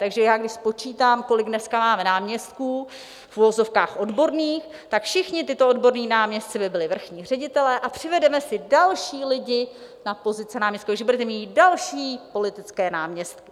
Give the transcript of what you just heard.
Takže já když spočítám, kolik dneska máme náměstků v uvozovkách odborných, tak všichni tito odborní náměstci by byli vrchní ředitelé a přivedeme si další lidi na pozice náměstků, takže budeme mít další politické náměstky.